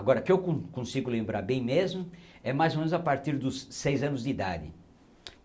Agora, o que eu con consigo lembrar bem mesmo é mais ou menos a partir dos seis anos de idade.